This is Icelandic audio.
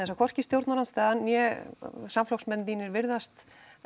að hvorki stjórnarandstaðan né samflokksmenn þínir virðast